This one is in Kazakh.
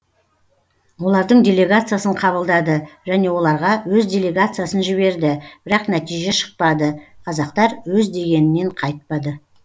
олардың делегациясын қабылдады және оларға өз делегациясын жіберді бірақ нәтиже шықпады қазақтар өз дегенінен қайтпады